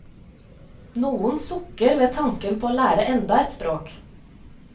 Noen sukker ved tanken på å lære enda et språk.